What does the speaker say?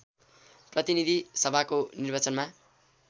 प्रतिनीधि सभाको निर्वाचनमा